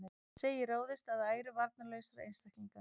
Segir ráðist að æru varnarlausra einstaklinga